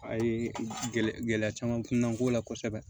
A ye gɛlɛya caman kunna n ko la kosɛbɛ